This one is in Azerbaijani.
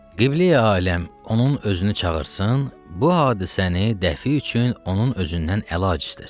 Qibləyi aləm, onun özünü çağırsın, bu hadisəni dəfi üçün onun özündən əlac istəsin.